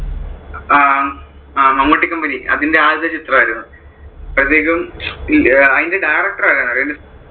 അഹ് Mammootty company അതിന്റെ ആദ്യത്തെ ചിത്രം ആയിരുന്നു. അപ്പോഴത്തേക്കും അതിന്‍റെ director ആരാണെന്നു അറിയുവോ?